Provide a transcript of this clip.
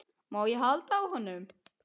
Má ég halda á honum?